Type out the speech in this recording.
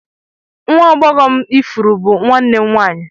Nwa agbọghọ m ifuru bụ nwanne m nwanyị